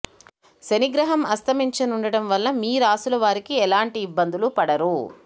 శని గ్రహం అస్తమించనుండటం వల్ల మీ రాశుల వారికి ఎలాంటి ఇబ్బందులు పడరు